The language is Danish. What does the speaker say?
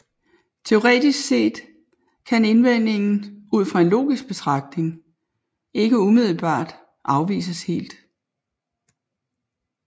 Teoretisk set kan indvendingen ud fra en logisk betragtning ikke umiddelbart afvises helt